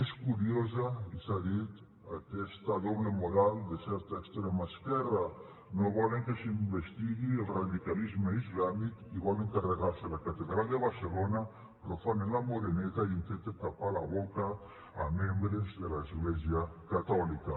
és curiosa i s’ha dit aquesta doble moral de certa extrema esquerra no volen que s’investigui el radicalisme islàmic i volen carregar se la catedral de barcelona profanen la moreneta i intenten tapar la boca a membres de l’església catòlica